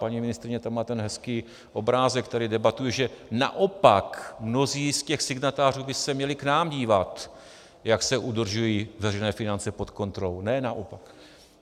Paní ministryně, tam má ten hezký obrázek, který debatuji, že naopak mnozí z těch signatářů by se měli k nám dívat, jak se udržují veřejné finance pod kontrolou, ne naopak.